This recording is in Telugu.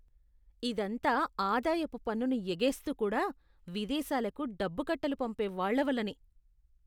ఇదంతా ఆదాయపు పన్నును ఎగేస్తూ కూడా, విదేశాలకు డబ్బు కట్టలు పంపే వాళ్ళ వల్లనే.